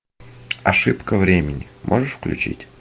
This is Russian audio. ошибка времени можешь включить